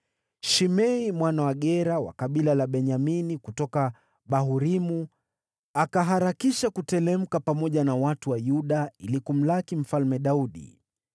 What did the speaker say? Shimei mwana wa Gera, wa kabila la Benyamini kutoka Bahurimu, akaharakisha kuteremka pamoja na watu wa Yuda ili kumlaki Mfalme Daudi.